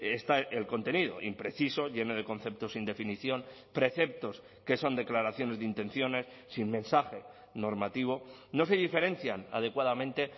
está el contenido impreciso lleno de conceptos sin definición preceptos que son declaraciones de intenciones sin mensaje normativo no se diferencian adecuadamente